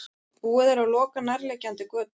Búið er að loka nærliggjandi götum